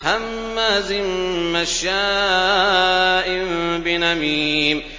هَمَّازٍ مَّشَّاءٍ بِنَمِيمٍ